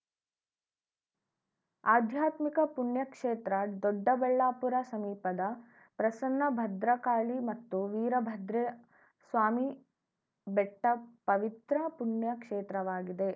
ಆಧ್ಯಾತ್ಮಿಕ ಪುಣ್ಯ ಕ್ಷೇತ್ರ ದೊಡ್ಡಬಳ್ಳಾಪುರ ಸಮೀಪದ ಪ್ರಸನ್ನ ಭದ್ರಕಾಳಿ ಮತ್ತು ವೀರಭದ್ರಸ್ವಾಮಿ ಬೆಟ್ಟಪವಿತ್ರ ಪುಣ್ಯ ಕ್ಷೇತ್ರವಾಗಿದೆ